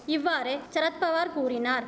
இவ்வாறு சரத்பவார் கூறினார்